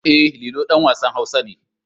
E, Lilo ɗan wasan Hausa ne.